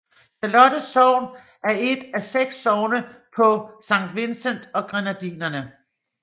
Charlotte sogn er et af seks sogne på Saint Vincent og Grenadinerne